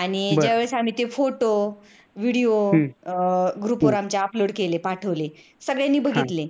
आणि ज्या वेळेस आम्ही photo video group आमच्या upload केले पाठवले सगळ्तयांनी बघितले